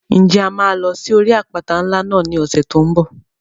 Ǹjẹ́ a máa lọ sí orí àpáta ńlá náà ní ọ̀sẹ̀ tó n bọ̀?